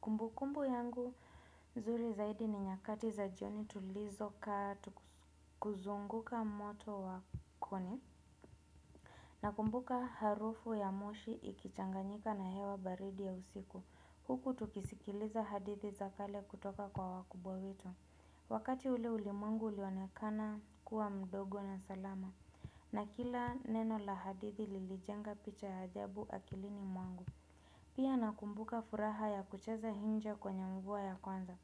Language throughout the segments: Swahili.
Kumbu kumbu yangu zuri zaidi ni nyakati za jioni tulizo kaa tukizunguka moto wa koni. Nakumbuka harufu ya moshi ikichanganyika na hewa baridi ya usiku. Huku tukisikiliza hadithi za kale kutoka kwa wakubwa wetu. Wakati ule ulimwengu ulionekana kuwa mdogo na salama. Na kila neno la hadithi lilijenga picha ya ajabu akilini mwangu. Pia nakumbuka furaha ya kucheza nje kwenye mvua ya kwanza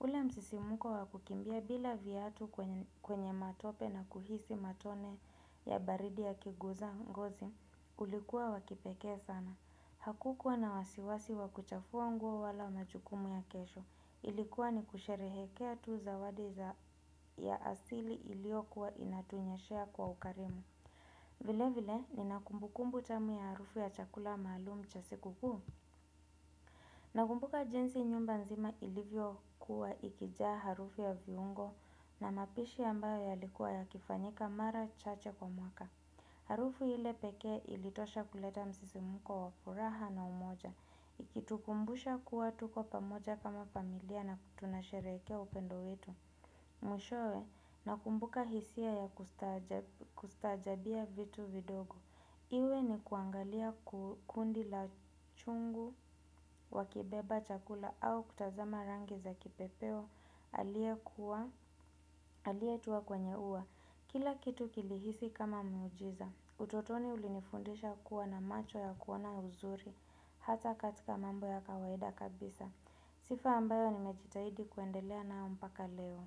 ule msisimuko wa kukimbia bila viatu kwenye matope na kuhisi matone ya baridi yakiguza ngozi ulikuwa wa kipekee sana. Hakukuwa na wasiwasi wa kuchafua nguo wala majukumu ya kesho. Ilikuwa ni kusherehekea tu zawadi ya asili iliyokuwa inatunyeshea kwa ukarimu vile vile Nina kumbukumbu tamu ya harufu ya chakula malumu cha siku kuu na kumbuka jinsi nyumba nzima ilivyo kuwa ikijaa harufu ya viungo na mapishi ambayo yalikuwa yakifanyika mara chache kwa mwaka. Harufu ile pekee ilitosha kuleta msisimuko wa furaha na umoja. Ikitukumbusha kuwa tuko pamoja kama familia na tunashereke upendo wetu. Mwishowe nakumbuka hisia ya kustajabia vitu vidogo. Iwe ni kuangalia kundi la chungu wakibeba chakula au kutazama rangi za kipepeo aliyetua kwenye uwa. Kila kitu kilihisi kama miujiza. Utotoni ulinifundisha kuwa na macho ya kuona uzuri hata katika mambo ya kawaida kabisa. Sifa ambayo nimejitahidi kuendelea nayo mpaka leo.